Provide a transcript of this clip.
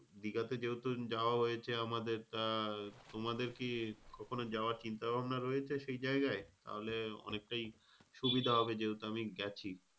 ঠিক আছে যেহেতু যাওয়া হয়েছে আমাদের। আহ তোমাদের কি কখনো যাওয়ার চিন্তা ভাবনা রয়েছে সেই যায়গায়? তাহলে অনেকটাই সুবিধা হবে যেহেতু আমি গেছি।